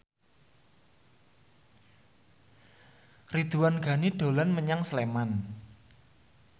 Ridwan Ghani dolan menyang Sleman